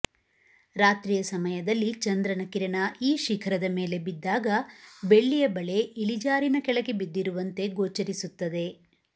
ರಾತ್ರಿಯ ಸಮಯದಲ್ಲಿ ಚಂದ್ರನ ಕಿರಣ ಈ ಶಿಖರದ ಮೇಲೆ ಬಿದ್ದಾಗ ಬೆಳ್ಳಿಯ ಬಳೆ ಇಳಿಜಾರಿನ ಕೆಳಗೆ ಬಿದ್ದಿರುವಂತೆ ಗೋಚರಿಸುತ್ತದೆ